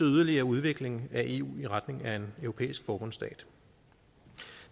yderligere udvikling af eu i retning af en europæisk forbundsstat